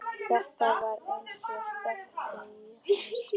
Þetta var eins og steypt í huga hans.